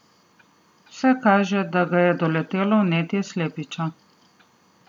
Vse kaže, da ga je doletelo vnetje slepiča.